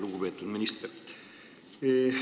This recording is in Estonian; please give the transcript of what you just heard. Lugupeetud minister!